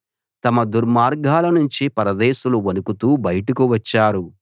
తమ దుర్గాలనుంచి పరదేశులు వణుకుతూ బయటకు వచ్చారు